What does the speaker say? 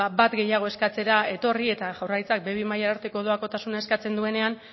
bat gehiago eskatzera etorri eta jaurlaritzak be bi mailara arteko doakotasuna eskatzen duenean